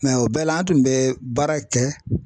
o bɛɛ la an tun bɛ baara kɛ